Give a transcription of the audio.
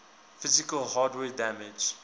physical hardware damage